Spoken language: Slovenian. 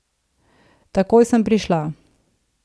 Takoj sem prišla.